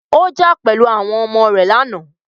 Ó jà pẹ̀lú àwọn ọmọ rẹ lánàá.